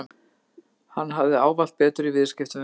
Hann hafði ávallt betur í viðskiptum við mig.